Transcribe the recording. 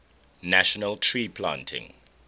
national tree planting